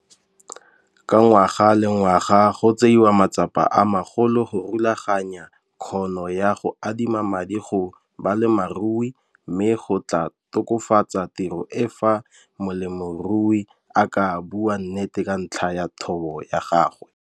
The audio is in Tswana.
Ka ngwga le ngwaga go tseiwa matsapa a magolo go rulaganya kgono ya go adima madi go balemirui mme go tlaa tokafatsa tiro e fa molemirui a ka bua nnete ka ntlha ya thobo ya gagwe.